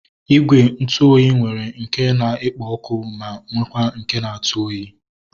Igwe ntụ oyi nwere nke na-ekpo ọkụ ma nwekwa nke na-atụ oyi